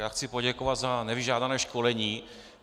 Já chci poděkovat za nevyžádané školení.